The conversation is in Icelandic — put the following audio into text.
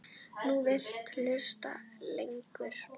Nú viltu hlusta lengur.